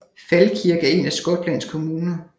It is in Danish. Falkirk er en af Skotlands kommuner